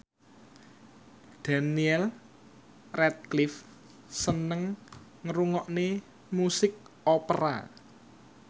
Daniel Radcliffe seneng ngrungokne musik opera